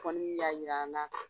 Kɔni y'a yira an na